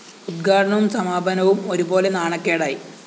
ഉദ്ഘാടനവും സമാപനവും ഒരുപോലെ നാണക്കേടായി